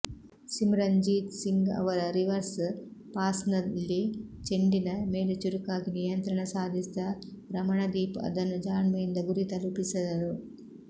ಸಿಮ್ರನ್ಜೀತ್ ಸಿಂಗ್ ಅವರ ರಿವರ್ಸ್ ಪಾಸ್ನಲ್ಲಿ ಚೆಂಡಿನ ಮೇಲೆ ಚುರುಕಾಗಿ ನಿಯಂತ್ರಣ ಸಾಧಿಸಿದ ರಮಣದೀಪ್ ಅದನ್ನು ಜಾಣ್ಮೆಯಿಂದ ಗುರಿ ತಲುಪಿಸಿದರು